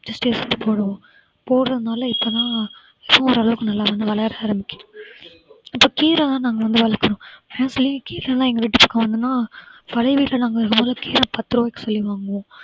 திருஷ்டி சுத்தி போடுவோம் போடறதுனால இப்பதான் ஏதோ ஒரளவுக்கு நல்லா வந்து வளர ஆரம்பிக்குது இப்ப கீரை தான் நாங்க வந்து வளர்க்கிறோம் கீரையெல்லாம் எங்க வீட்டுக்கு பழைய வீட்ல நாங்க வாங்கின கீரை பத்து ரூபாய்க்கு போய் வாங்குவோம்